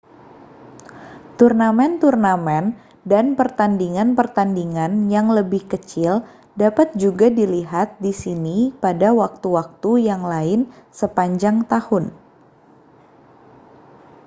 turnamen-turnamen dan pertandingan-pertandingan yang lebih kecil dapat juga dilihat di sini pada waktu-waktu yang lain sepanjang tahun